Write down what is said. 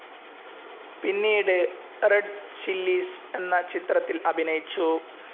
പിന്നീട് Red Chillies എന്ന ചിത്രത്തിൽ അഭിനയിച്ചു.